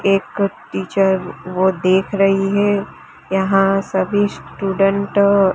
एक टीचर वो देख रही है यहां सभी स्टूडेंट --